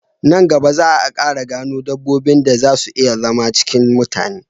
Nan gaba za a Ƙara gano dabbobin da zan si iya zama cikin mutane